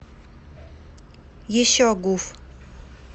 еще гуф